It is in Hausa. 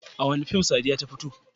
A wane fim Sadiya ta fito?